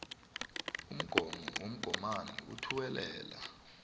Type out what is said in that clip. umgomo womgomani othuwelela